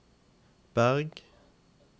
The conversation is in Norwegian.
Berg